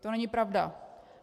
To není pravda!